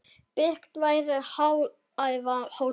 Byggt verði hágæða hótel.